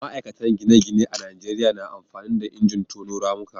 ma'aikatan gine-gine a Najeriya na amfani da injin tono ramuka